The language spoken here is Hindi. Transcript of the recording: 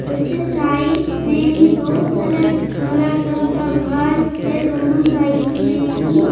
उसके साइड में ही बहुत सारा हारा रंग का घास है दोनों साइड मे ही--